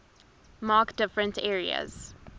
mark different areas